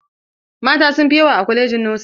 Mata sun fi yawa a kwalajin nosin.